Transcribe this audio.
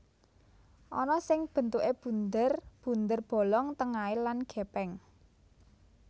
Ana sing bentuké bunder bunder bolong tengahé lan gèpèng